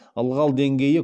ылғал деңгейі